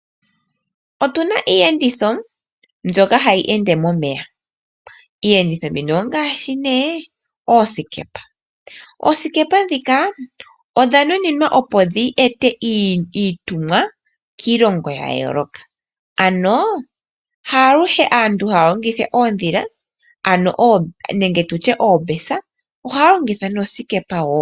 Otuna iiyenditho mbyoka hayi ende momeya . Iiyenditho mbino ongaashi oosikepa . Oosikepa ndhika odha nuninwa opo dhi ete iitumwa kiilongo ya yooloka ano haaluhe aantu haya longitha oondhila nenge oobesa ohaya longitha noosikepa woo